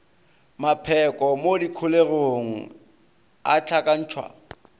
mapheko mo dikholegong a hlakantšhwa